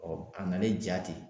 a nalen ja ten